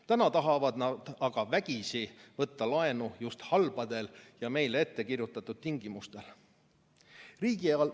Täna tahavad nad aga vägisi võtta laenu just halbadel ja meile ette kirjutatud tingimustel.